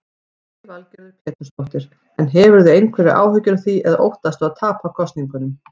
Lillý Valgerður Pétursdóttir: En hefurðu einhverjar áhyggjur af því eða óttastu að tapa kosningunum?